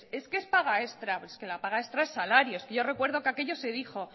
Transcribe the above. es que es paga extra y es que la paga extra es salario es que yo recuerde que aquello se dijo